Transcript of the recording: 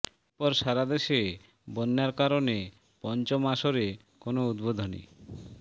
এরপর সারা দেশে বন্যার কারণে পঞ্চম আসরে কোনো উদ্বোধনী